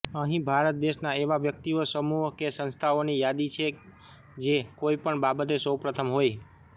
અહીં ભારત દેશના એવા વ્યક્તિઓ સમૂહો કે સંસ્થાઓની યાદી છે જે કોઇપણ બાબતે સૌપ્રથમ હોય